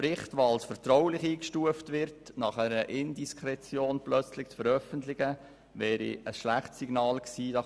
Doch den als vertraulich eingestuften Bericht nach einer Indiskretion plötzlich zu veröffentlichen, wäre ein schlechtes Signal gewesen.